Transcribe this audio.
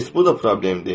heç bu da problem deyil.